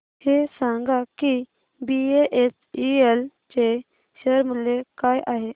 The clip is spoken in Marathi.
हे सांगा की बीएचईएल चे शेअर मूल्य काय आहे